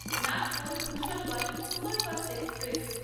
Nagpur Bhusawal superfast express